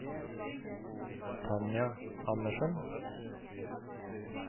Tanja Andersen